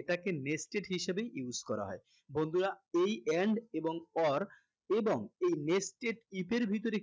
এটাকে nested হিসেবেই use করা হয় বন্ধুরা এই and এবং or এবং এই nested if এর ভিতরে